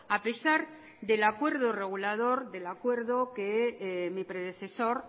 a pesar del acuerdo regulador del acuerdo que mi predecesor